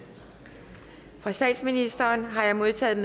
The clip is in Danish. fra statsministeren har jeg modtaget